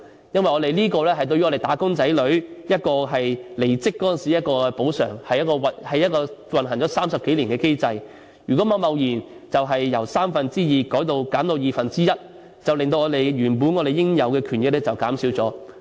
因為這是我們"打工仔女"在離職時的一種補償，是運行了30多年的機制，如果貿然由三分之二減至二分之一，會令我們原本的應有權益減少。